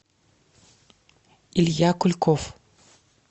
илья кульков